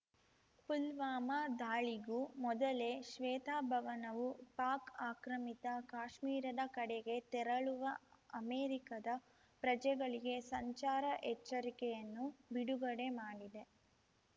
ಪುಲ್ವಾಮಾ ದಾಳಿಗೂ ಮೊದಲೇ ಶ್ವೇತಭವನವು ಪಾಕ್‌ ಆಕ್ರಮಿತ ಕಾಶ್ಮೀರದ ಕಡೆಗೆ ತೆರಳುವ ಅಮೆರಿಕದ ಪ್ರಜೆಗಳಿಗೆ ಸಂಚಾರ ಎಚ್ಚರಿಕೆಯನ್ನು ಬಿಡುಗಡೆ ಮಾಡಿದೆ